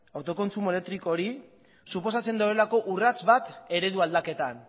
autokontsumo elektriko hori suposatzen duelako urrats bat eredu aldaketan